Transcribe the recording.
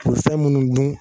u fɛn munnu dun